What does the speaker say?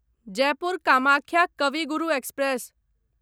Jaipur Kamakhya Kavi Guru express